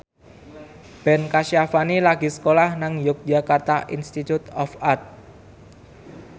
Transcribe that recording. Ben Kasyafani lagi sekolah nang Yogyakarta Institute of Art